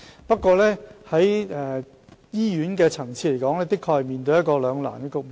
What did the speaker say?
不過，醫院的確面對一個兩難的局面。